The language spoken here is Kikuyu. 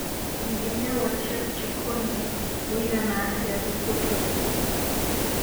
wĩĩgĩthĩa wa chep chikoni wĩigana atĩa thikũ tũri